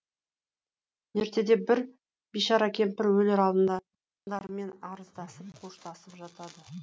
ертеде бір бишара кемпір өлер алдында арыздасып қоштасып жатады